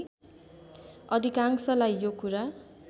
अधिकांशलाई यो कुरा